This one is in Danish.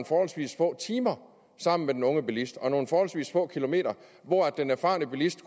forholdsvis få timer sammen med den unge bilist og forholdsvis få kilometer hvor den erfarne bilist